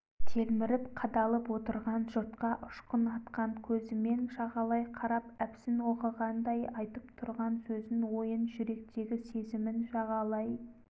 телміріп қадалып отырған жұртқа ұшқын атқан көзімен жағалай қарап әпсін оқығандай айтып тұрған сөзін ойын жүректегі сезімін жағалай